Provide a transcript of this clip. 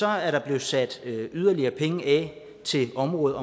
er der blevet sat yderligere penge af til området